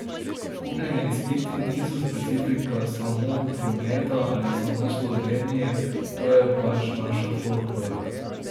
Kupljeni izpiti niso specifika samo prometa ali samo Slovenije, to je pač naša folklora.